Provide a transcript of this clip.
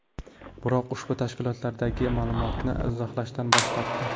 Biroq ushbu tashkilotdagilar ma’lumotni izohlashdan bosh tortdi.